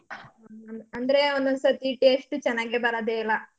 ಹ್ಮ್ ಅಂದ್ರೆ ಒಂದೊಂದ್ ಸತಿ taste ಚನಾಗೆ ಬರದೇ ಇಲ್ಲ.